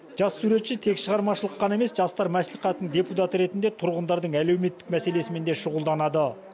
жас суретші тек шығармашылық қана емес жастар мәслихатының депутаты ретінде тұрғындардың әлеуметтік мәселесімен де шұғылданады